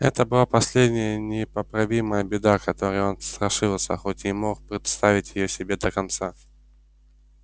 это была последняя непоправимая беда которой он страшился хоть и не мог представить её себе до конца